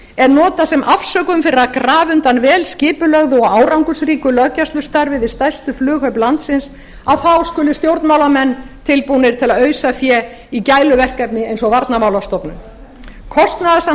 er notað sem afsökun fyrir að grafa undan vel skipulögðu og árangursríku löggæslustarfi við stærstu flughöfn landsins að þá skuli stjórnmálamenn tilbúnir til að ausa fé í gæluverkefni eins og varnarmálastofnun kostnaðarsamt